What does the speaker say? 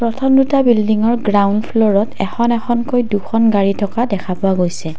প্ৰথম দুটা বিল্ডিংৰ গ্ৰাউণ্ড ফ্লৰত এখন এখনকৈ দুখন গাড়ী থকা দেখা পোৱা গৈছে।